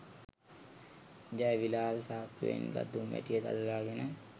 ජයවිලාල් සාක්කුවෙන් ගත් දුම් වැටිය දල්වාගෙන